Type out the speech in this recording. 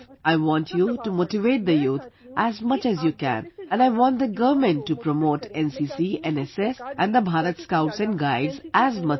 I want you to motivate the youth as much as you can, and I want the government to also promote NCC, NSS and the Bharat Scouts and Guides as much as possible